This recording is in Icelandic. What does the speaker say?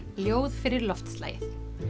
ljóð fyrir loftslagið